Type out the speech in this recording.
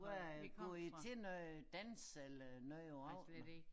Hvad går i til noget dans eller noget der raget mig